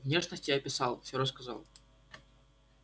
внешность я описал всё рассказал